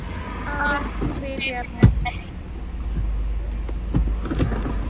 ആഹ് create ചെയ്യാം